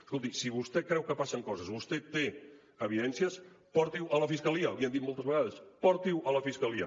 escolti si vostè creu que passen coses si vostè té evidències porti ho a la fiscalia l’hi han dit moltes vegades porti ho a la fiscalia